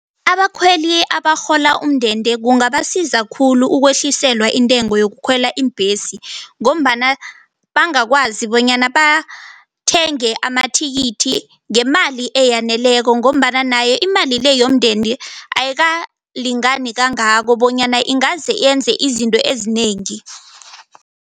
Abakhweli abarhola umndende kungabasiza khulu ukwehliselwa intengo yokukhwela iimbhesi ngombana bangakwazi bonyana bathenge amathikithi ngemali eyaneleko ngombana nayo imali le yomndende, ayikalingani kangako bonyana ingaze yenze izinto ezinengi.